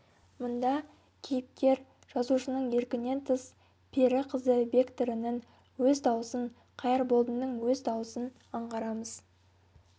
мұнда кейіпкер жазушының еркінен тыс пері қызы бекторының өз даусын қайырболдының өз дауысын аңғарамыз